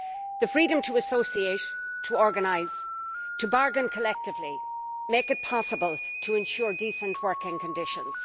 The freedom to associate, to organise, to bargain collectively, make it possible to ensure decent working conditions.